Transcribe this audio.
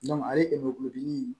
ale kulodimi